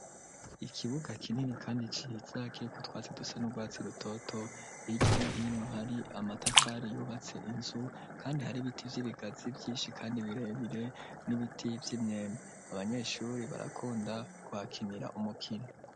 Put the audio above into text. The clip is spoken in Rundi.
Ikibuga kinini kandi ciza kiriko utwatsi dusa n'urwatsi rutoto ,hirya no hino hari amatafari yubatse inzu kandi har’ibiti vy'ibigazi vyinshi kandi birebire n'ibiti vy'imyembe ,abanyeshuri barakunda guhakinira umukino.